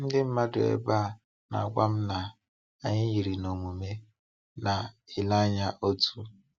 Ndị mmadụ ebe a na-agwa m na anyị yiri na omume na-ele anya otu.